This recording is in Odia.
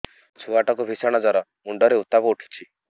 ଛୁଆ ଟା କୁ ଭିଷଣ ଜର ମୁଣ୍ଡ ରେ ଉତ୍ତାପ ଉଠୁଛି